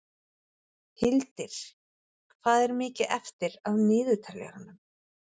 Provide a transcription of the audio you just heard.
Hildir, hvað er mikið eftir af niðurteljaranum?